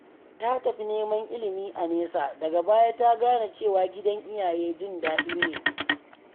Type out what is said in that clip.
Ta tafi neman ilimi a nesa, daga baya ta gane cewa gidan iyaye jin daɗi ne.